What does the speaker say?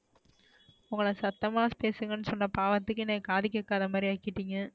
உங்கள சத்தமா பேசுங்கன்னு சொன்ன பாவத்துக்கு என்ன காது கேக்காத மாறி ஆகிடிங்க,